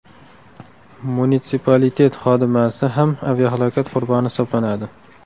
Munitsipalitet xodimasi ham aviahalokat qurboni hisoblanadi.